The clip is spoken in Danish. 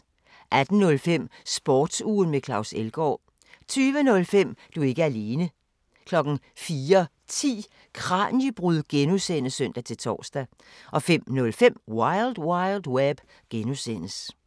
18:05: Sportsugen med Claus Elgaard 20:05: Du er ikke alene 04:10: Kraniebrud (G) (søn-tor) 05:05: Wild Wild Web (G)